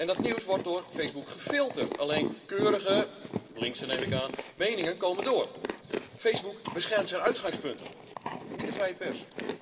Dat nieuws wordt door Facebook gefilterd. Alleen keurige linkse neem ik aan meningen komen door. Facebook beschermt zijn uitgangspunt, niet de vrije pers.